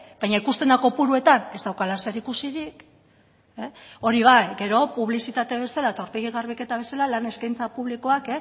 baina ikusten da kopuruetan ez daukala zeri ikusirik hori bai gero publizitate bezala eta aurpegi garbiketa bezala lan eskaintza publikoak